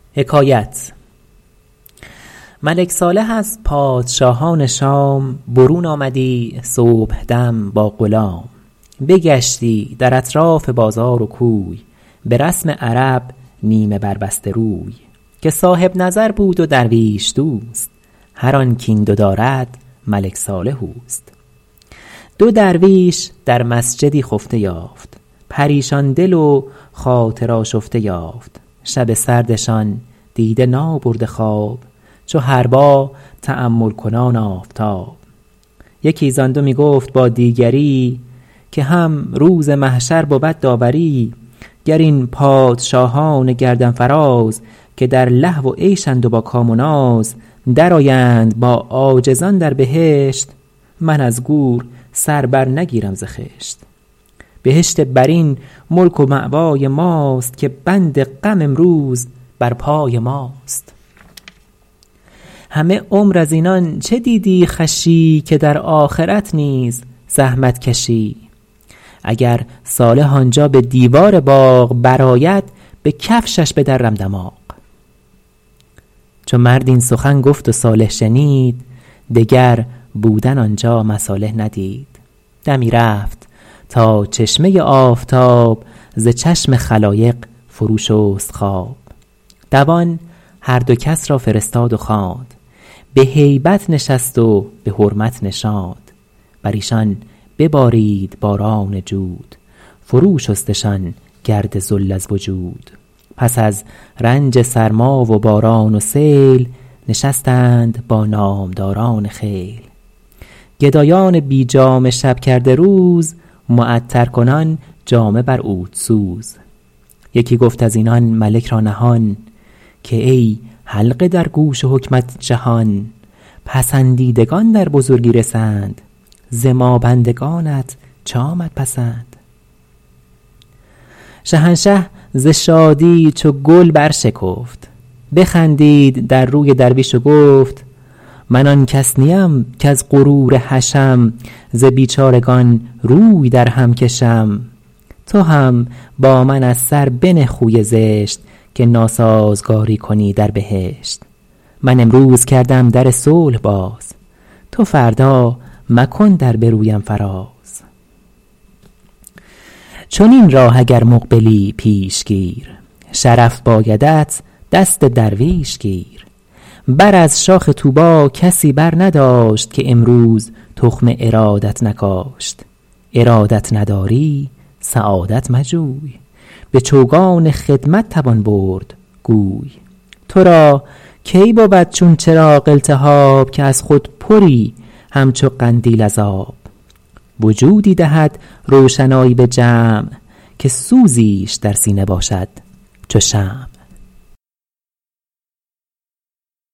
ملک صالح از پادشاهان شام برون آمدی صبحدم با غلام بگشتی در اطراف بازار و کوی به رسم عرب نیمه بر بسته روی که صاحب نظر بود و درویش دوست هر آن کاین دو دارد ملک صالح اوست دو درویش در مسجدی خفته یافت پریشان دل و خاطر آشفته یافت شب سردشان دیده نابرده خواب چو حربا تأمل کنان آفتاب یکی زآن دو می گفت با دیگری که هم روز محشر بود داوری گر این پادشاهان گردن فراز که در لهو و عیشند و با کام و ناز در آیند با عاجزان در بهشت من از گور سر بر نگیرم ز خشت بهشت برین ملک و مأوای ماست که بند غم امروز بر پای ماست همه عمر از اینان چه دیدی خوشی که در آخرت نیز زحمت کشی اگر صالح آنجا به دیوار باغ بر آید به کفتش بدرم دماغ چو مرد این سخن گفت و صالح شنید دگر بودن آنجا مصالح ندید دمی رفت تا چشمه آفتاب ز چشم خلایق فرو شست خواب دوان هر دو را کس فرستاد و خواند به هیبت نشست و به حرمت نشاند بر ایشان ببارید باران جود فرو شستشان گرد ذل از وجود پس از رنج سرما و باران و سیل نشستند با نامداران خیل گدایان بی جامه شب کرده روز معطر کنان جامه بر عود سوز یکی گفت از اینان ملک را نهان که ای حلقه در گوش حکمت جهان پسندیدگان در بزرگی رسند ز ما بندگانت چه آمد پسند شهنشه ز شادی چو گل بر شکفت بخندید در روی درویش و گفت من آن کس نیم کز غرور حشم ز بیچارگان روی در هم کشم تو هم با من از سر بنه خوی زشت که ناسازگاری کنی در بهشت من امروز کردم در صلح باز تو فردا مکن در به رویم فراز چنین راه اگر مقبلی پیش گیر شرف بایدت دست درویش گیر بر از شاخ طوبی کسی بر نداشت که امروز تخم ارادت نکاشت ارادت نداری سعادت مجوی به چوگان خدمت توان برد گوی تو را کی بود چون چراغ التهاب که از خود پری همچو قندیل از آب وجودی دهد روشنایی به جمع که سوزیش در سینه باشد چو شمع